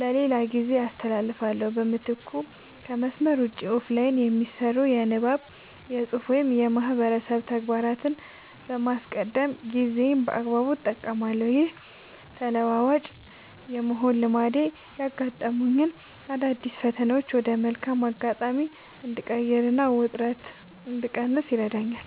ለሌላ ጊዜ አስተላልፋለሁ። በምትኩ ከመስመር ውጭ (Offline) የሚሰሩ የንባብ፣ የፅሁፍ ወይም የማህበረሰብ ተግባራትን በማስቀደም ጊዜዬን በአግባቡ እጠቀማለሁ። ይህ ተለዋዋጭ የመሆን ልማዴ ያጋጠሙኝን አዳዲስ ፈተናዎች ወደ መልካም አጋጣሚ እንድቀይርና ውጥረት እንድቀንስ ይረዳኛል።